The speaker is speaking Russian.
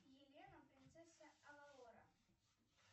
елена принцесса авалора